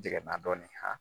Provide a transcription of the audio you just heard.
Jɛginna dɔɔnin